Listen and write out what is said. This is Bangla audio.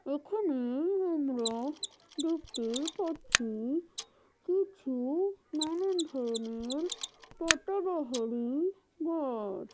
এখানেই আমরা দেখতে পাচ্ছি কিছু নানান ধরণের পাতাবাহারি গা--